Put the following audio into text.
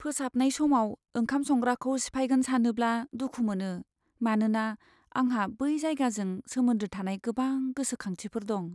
फोसाबनाय समाव ओंखाम संग्राखौ सिफायगोन सानोब्ला दुखु मोनो मानोना आंहा बै जायगाजों सोमोन्दो थानाय गोबां गोसोखांथिफोर दं।